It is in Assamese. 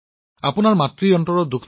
প্ৰেম জী মাক দুখী নকৰিব তেওঁক বুজাব